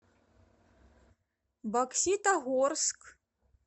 бокситогорск